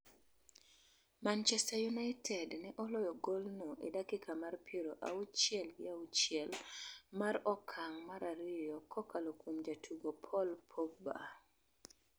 Manchester United ne oloyo golno e dakika mar piero auchiel gi auchiel mar okang' mar ariyo kokalo kuom jatugo Paul Pogba.